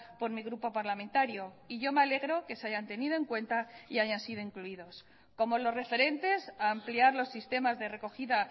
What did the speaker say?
por mi grupo parlamentario y yo me alegro que se hayan tenido en cuenta y hayan sido incluidos como los referentes a ampliar los sistemas de recogida